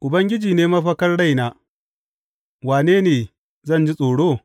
Ubangiji ne mafakar raina, wane ne zan ji tsoro?